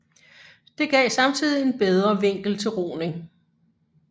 Det gav samtidig en bedre vinkel til roning